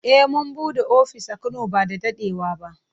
Eh mun bude ofis a Kano ba da dadewa ba.